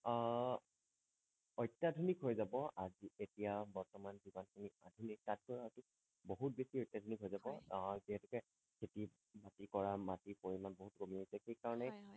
আহ অত্যাধুনিক হৈ যাব আজি এতিয়া বৰ্তমান কিবা কিবি আহিলেই তাতকৈ অধিক বিহুত বেছি অত্যাধুনিক হৈ যাব হয় যিহেতোকে খেতি বাতি কৰা মাটি পৰিমাণ বহুত কমি আহিছে সেই কাৰণেই হয় হয়